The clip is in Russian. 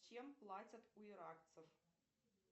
чем платят у иракцев